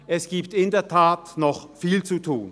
Es gibt in der Tat noch viel zu tun.